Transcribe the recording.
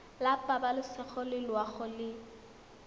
la pabalesego le loago e